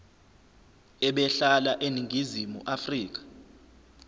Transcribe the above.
ebehlala eningizimu afrika